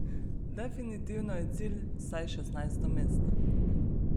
Definitivno je cilj vsaj šestnajsto mesto.